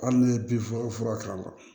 Hali n'i ye bin fura k'a la